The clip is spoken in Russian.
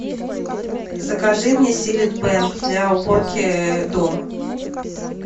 закажи мне силит бэнг для уборки дома